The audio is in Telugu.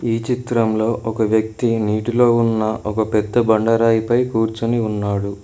ఈ చిత్రంలో ఒక వ్యక్తి నీటిలో ఉన్న ఒక పెద్ద బండరాయిపై కూర్చొని ఉన్నాడు.